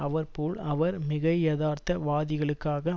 அவர் போல் அவர் மிகையதார்த்த வாதிகளுக்காக